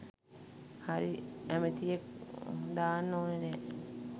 හරි ඇමතියෙක් දාන්න ඕනේ නැහැ.